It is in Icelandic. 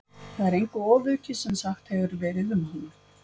Það er engu ofaukið sem sagt hefur verið um hana.